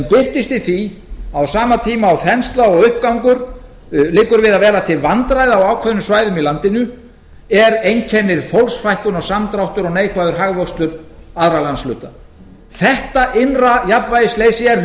birtist í því að á sama tíma og þensla og uppgangur liggur við að vera til vandræða á ákveðnum svæðum í landinu einkennir fólksfækkun og samdráttur og neikvæður hagvöxtur aðra landshluta þetta innra jafnvægisleysi er